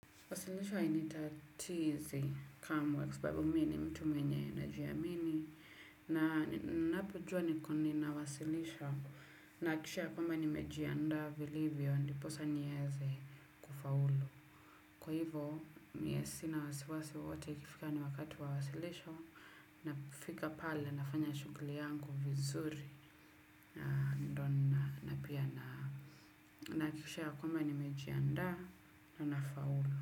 Wasilisho hainitatizi kamwe kwa sababu mi ni mtu mwenye anajiamini na napojua niko ninawasilisha nahakikisha ya kwamba nimejiandaa vilivyo ndiposa nieze kufaulu. Kwa hivyo mie sina wasiwasi wowote ikifika ni wakati wa wasilisho nafika pale nafanya shughuli yangu vizuri na ndio nina na pia nahakikisha ya kwamba nimejianda na nafaulu.